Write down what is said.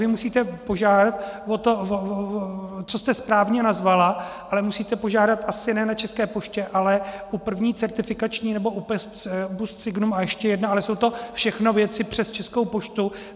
Vy musíte požádat o to, co jste správně nazvala, ale musíte požádat asi ne na České poště, ale u První certifikační nebo u PostSignum a ještě jedna, ale jsou to všechno věci přes Českou poštu.